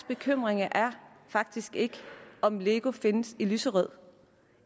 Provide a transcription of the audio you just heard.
bekymringer er faktisk ikke om lego findes i lyserødt